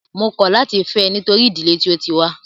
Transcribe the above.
Mó kọ̀ láti fẹ́ ẹ nítorí ìdílé tí o tí wá.